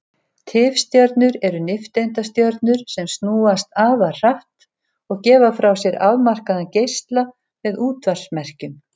Tifstjörnur eru nifteindastjörnur sem snúast afar hratt og gefa frá sér afmarkaðan geisla með útvarpsmerkjum.